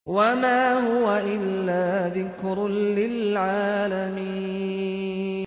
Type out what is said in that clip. وَمَا هُوَ إِلَّا ذِكْرٌ لِّلْعَالَمِينَ